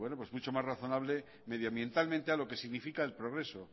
mucho más razonable medioambientalmente a lo que significa el progreso